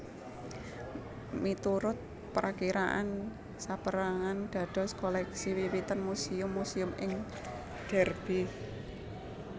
Miturut prakiraan sapérangan dados koleksi wiwitan Muséum muséum ing Derby